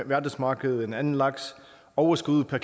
verdensmarkedet end anden laks overskuddet per